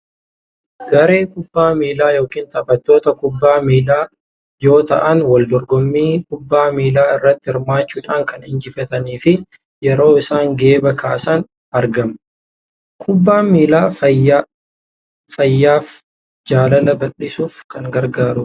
Garee kubbaa miilaa yookaan taphattoota kubbaa miilaa yoo ta’an wal dorgommii kubbaa miilaa irratti hirmaachuudhaan kan injifatanii fi yeroo isaan geeba kaasna argama. Kubbaan miilaa fayyaaf, jaalala baldhisuuf kan gargaaru dha.